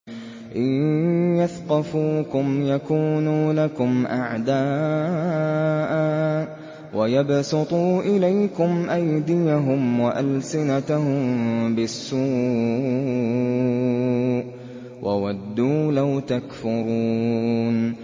إِن يَثْقَفُوكُمْ يَكُونُوا لَكُمْ أَعْدَاءً وَيَبْسُطُوا إِلَيْكُمْ أَيْدِيَهُمْ وَأَلْسِنَتَهُم بِالسُّوءِ وَوَدُّوا لَوْ تَكْفُرُونَ